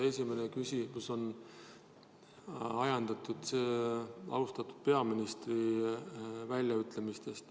Esimene osa küsimusest on ajendatud austatud peaministri väljaütlemistest.